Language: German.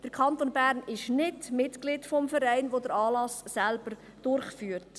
Der Kanton Bern ist nicht Mitglied des Vereins, der den Anlass als solchen durchführt.